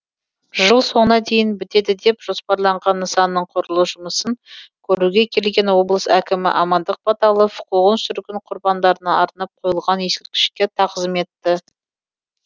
жыл соңына дейін бітеді деп жоспарланған нысанның құрылыс жұмысын көруге келген облыс әкімі амандық баталов қуғын сүргін құрбандарына арнап қойылған ескерткішке тағзым етті